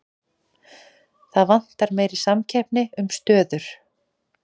Það vantar meiri samkeppni um stöður